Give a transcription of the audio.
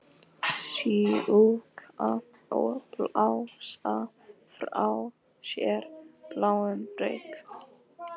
Sjúga og blása frá sér bláum reyk.